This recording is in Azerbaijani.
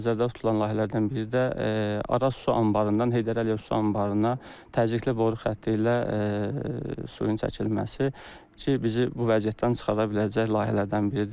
Nəzərdə tutulan layihələrdən biri də Araz su anbarından Heydər Əliyev su anbarına təzyiqli boru ilə suyun çəkilməsi ki, bizi bu vəziyyətdən çıxara biləcək layihələrdən biridir.